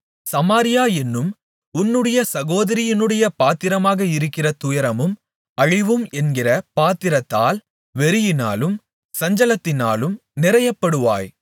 சமாரியா என்னும் உன்னுடைய சகோதரியினுடைய பாத்திரமாக இருக்கிற துயரமும் அழிவும் என்கிற பாத்திரத்தால் வெறியினாலும் சஞ்சலத்தினாலும் நிறையப்படுவாய்